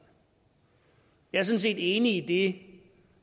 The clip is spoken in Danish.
jeg set enig i det